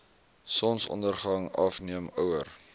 sonsondergang afneem ouer